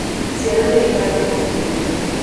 Ciana nĩ irathimo gwitũ